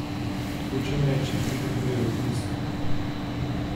Hočem reči, preden grejo v tisk.